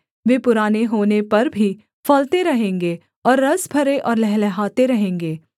वे पुराने होने पर भी फलते रहेंगे और रस भरे और लहलहाते रहेंगे